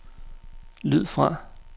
lyd fra